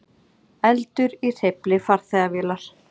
Eldur í hreyfli farþegavélar